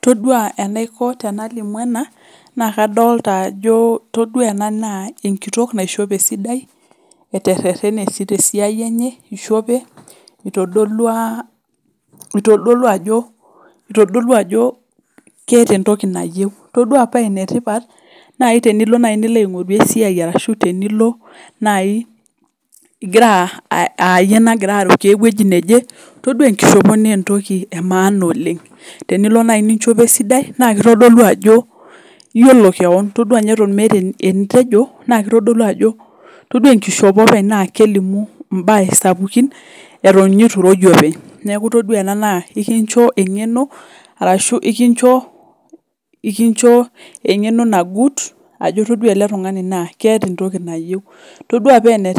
todua enaiko peyie alimu ena naa etodua Ajo Enkitok naishope esidai eteretene tesiai enye eishope etodolua Ajo ketaa entoki nayieu ore paa enetipat ore naaji peyie elo aing'oru esiai arashu tenilo ayie nagira arikoo ewueji neje todua enkoshopo naa entoki emaana tenilo naaji nichopo esidai kitodolu Ajo eyiolou keon todua ninye Eton meeta enitejo todua enkoshopo openy naa kelimu mbaa sapukin eitu eroo iyie openy neeku todua ena ekinjoo eng'eno ashu ekinjoo eng'eno naguut Ajo etodua ele tung'ani naa keeta entoki nayieu etodua ninye